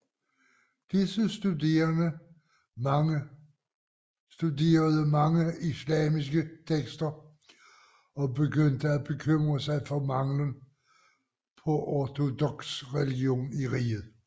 Disse studerede mange islamiske tekster og begyndte at bekymre sig for mangelen på ortodoks religion i riget